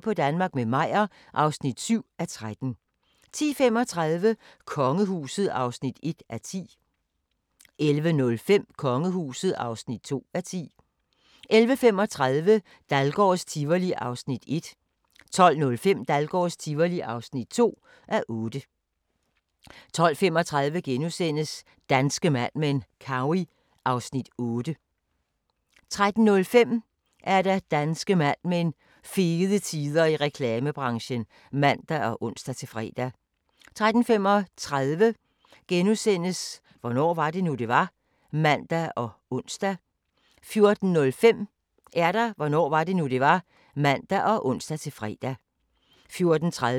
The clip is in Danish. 11:05: Kongehuset (2:10) 11:35: Dahlgårds Tivoli (1:8) 12:05: Dahlgårds Tivoli (2:8) 12:35: Danske Mad Men: Cowey (Afs. 8)* 13:05: Danske Mad Men: Fede tider i reklamebranchen (man og ons-fre) 13:35: Hvornår var det nu, det var? *(man og ons) 14:05: Hvornår var det nu, det var? (man og ons-fre) 14:30: Store danskere - Elsa Gress * 15:05: Store danskere - Per Hækkerup 15:45: Af nød og lyst – om kongebryllupper gennem tiden (5:5)